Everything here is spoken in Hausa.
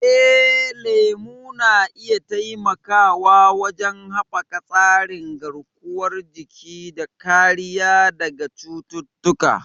Eh, lemu na iya taimakawa wajen haɓaka tsarin garkuwar jiki da kariya daga cututtuka.